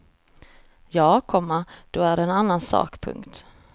Ja, komma då är det en annan sak. punkt